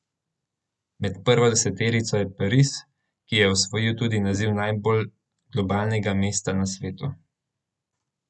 Med prvo deseterico je Pariz, ki je osvojil tudi naziv najbolj globalnega mesta na svetu.